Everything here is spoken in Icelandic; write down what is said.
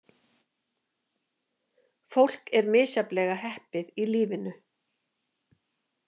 Fólk er misjafnlega heppið í lífinu.